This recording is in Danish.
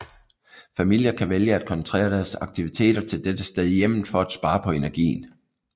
Familier kan vælge at koncentrere deres aktiviteter til dette sted i hjemmet for at spare på energien